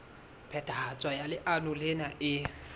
phethahatso ya leano lena e